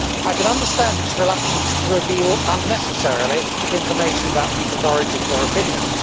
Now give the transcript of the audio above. I can understand its reluctance to reveal unnecessarily information about people's origins or opinions.